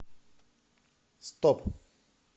стоп